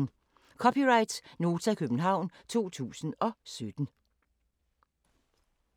(c) Nota, København 2017